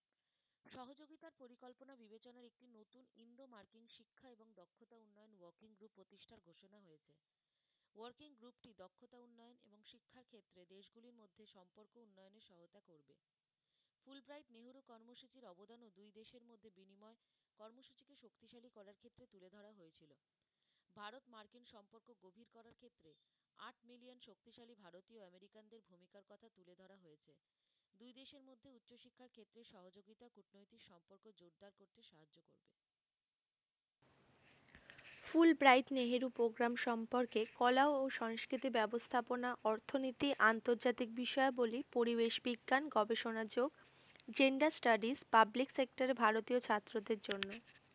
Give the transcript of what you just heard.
School bright Nehru program সম্পর্কে কলা এবং সংস্কৃতি ব্যবস্থাপনা অর্থনীতি আন্তর্জাতিক বিষয়াবলী পরিবেশ বিজ্ঞান গবেষণা যোগ gender studies public sector এ ভারতীয় ছাত্রদের জন্য,